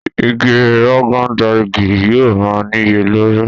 Ìgi Rogon Daji yóò má niyelori.